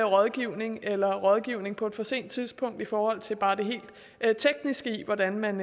rådgivning eller rådgivning på et for sent tidspunkt i forhold til bare det helt tekniske i hvordan man